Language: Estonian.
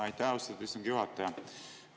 Aitäh, austatud istungi juhataja!